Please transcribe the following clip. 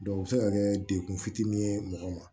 o bɛ se ka kɛ dekun fitinin ye mɔgɔ ma